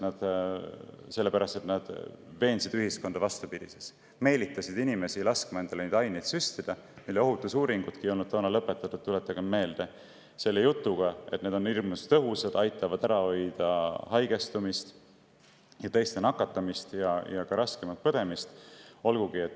Sellepärast et nad veensid ühiskonda vastupidises, meelitasid inimesi laskma endale süstida aineid, mille ohutuse uuringud ei olnud veel lõppenud – tuletagem meelde –, selle jutuga, et need on hirmus tõhusad, aitavad ära hoida haigestumist ja teiste nakatamist ja raskemat põdemist.